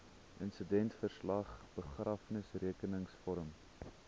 insidentverslag begrafnisrekenings vorm